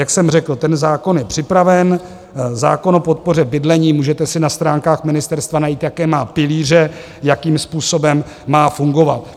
Jak jsem řekl, ten zákon je připraven, zákon o podpoře bydlení, můžete si na stránkách ministerstva najít, jaké má pilíře, jakým způsobem má fungovat.